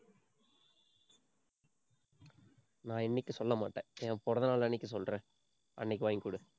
நான் இன்னைக்கு சொல்ல மாட்டேன். என் பிறந்த நாள் அன்னைக்கு சொல்றேன் அன்னைக்கு வாங்கிக்கொடு